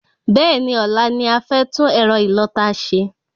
Bẹ́ẹ̀ni, ọ̀la ni a fẹ́ tún ẹ̀rọ ìlọta ṣe